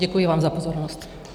Děkuji vám za pozornost.